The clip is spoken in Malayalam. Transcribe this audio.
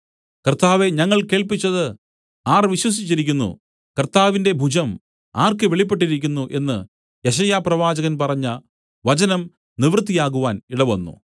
കർത്താവേ ഞങ്ങൾ കേൾപ്പിച്ചത് ആർ വിശ്വസിച്ചിരിക്കുന്നു കർത്താവിന്റെ ഭുജം ആർക്ക് വെളിപ്പെട്ടിരിക്കുന്നു എന്നു യെശയ്യാപ്രവാചകൻ പറഞ്ഞ വചനം നിവൃത്തിയാവാൻ ഇടവന്നു